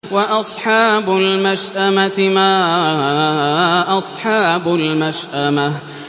وَأَصْحَابُ الْمَشْأَمَةِ مَا أَصْحَابُ الْمَشْأَمَةِ